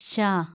ശ